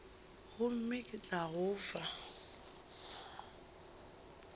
gomme ke tla go fa